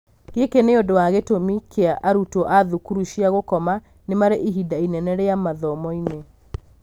Gĩkĩ nĩ ũndũ wa gĩtũmi kĩa arutwo a thukuru cia gũkoma nĩ marĩ ihinda inene rĩa mathomoinĩ.